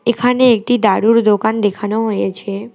এখানে একটি দারুর দোকান দেখানো হয়েছে।